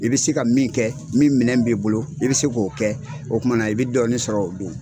I bɛ se ka min kɛ min minɛn b'i bolo i bɛ se k'o kɛ o kumana na i bɛ dɔɔnin sɔrɔ o don.